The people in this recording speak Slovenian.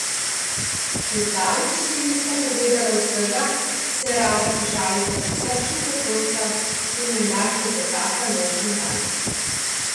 Še zdaleč si nista povedala vsega, se rada pošalita prisrčna zakonca, ki menda klepetata noč in dan.